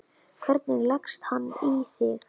Hvernig leggst hann í þig?